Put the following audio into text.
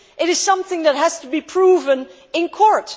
it is something that has to be proven in court.